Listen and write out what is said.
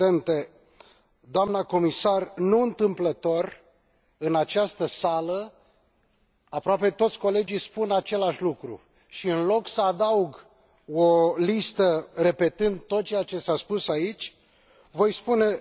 Doamnă comisar, nu întâmplător, în această sală aproape toți colegii spun același lucru și, în loc să adaug o listă, repetând tot ceea ce s a spus aici, voi spune următoarele.